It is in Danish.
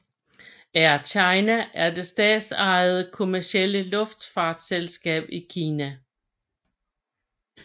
Air China er det statsejede kommercielle luftfartsselskab i Kina